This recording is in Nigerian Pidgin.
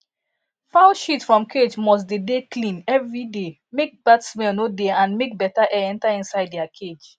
fowl shit from cage must de de clean everyday make bad smell no dey and make better air enter inside their cage